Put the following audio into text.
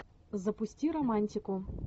запусти романтику